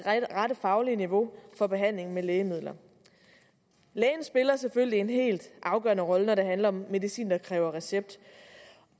rette faglige niveau for behandling med lægemidler lægen spiller selvfølgelig en helt afgørende rolle når det handler om medicin der kræver recept